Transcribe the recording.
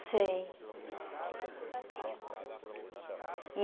Sei e.